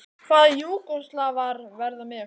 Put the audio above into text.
Hvaða Júgóslavar verða með ykkur?